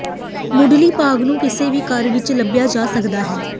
ਮੁੱਢਲੀ ਭਾਗ ਨੂੰ ਕਿਸੇ ਵੀ ਘਰ ਵਿੱਚ ਲੱਭਿਆ ਜਾ ਸਕਦਾ ਹੈ